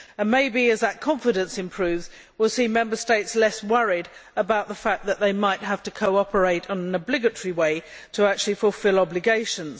Maybe, as that confidence improves, we will see Member States less worried about the fact that they might have to cooperate in an obligatory way to fulfil obligations.